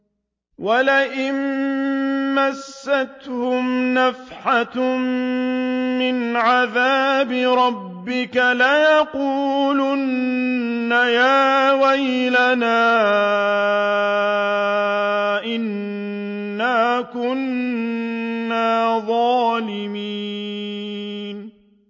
وَلَئِن مَّسَّتْهُمْ نَفْحَةٌ مِّنْ عَذَابِ رَبِّكَ لَيَقُولُنَّ يَا وَيْلَنَا إِنَّا كُنَّا ظَالِمِينَ